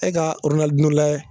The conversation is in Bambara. E ka oronalidino layɛ